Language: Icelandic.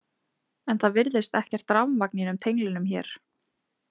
En það virðist ekkert rafmagn í einum tenglinum hér?